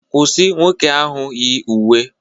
Kwụsị nwoke ahụ yi uwe